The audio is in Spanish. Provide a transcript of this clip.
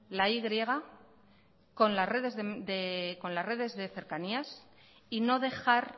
la y con las redes de cercanías y no dejar